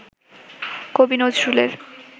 কবি নজরুলের